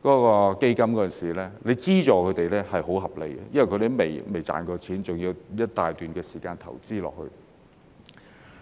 如果政府在那時候資助他們，是很合理的，因為他們未有盈利，還要投資一大段時間。